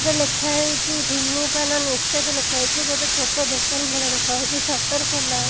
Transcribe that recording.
ଏଠି ଲେଖା ହେଇଚି ଧୂନୀପାନ ନିଷେଧ ଲେଖା ହେଇଚି ଗୋଟେ ଛୋଟ ଦୋକାନ ଭାଲିଆ ଦେଖାଯାଉଛି ଶଟର ଖୋଲା ଅ।